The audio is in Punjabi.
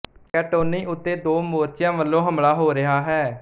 ਕੈਂਟੋਨੀ ਉੱਤੇ ਦੋ ਮੋਰਚੀਆਂ ਉੱਤੇ ਵਲੋਂ ਹਮਲਾ ਹੋ ਰਿਹਾ ਹੈ